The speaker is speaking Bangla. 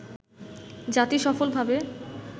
জাতি সফলভাবে